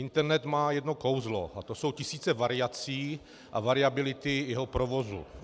Internet má jedno kouzlo, a to jsou tisíce variací a variability jeho provozu.